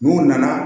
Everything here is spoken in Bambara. N'u nana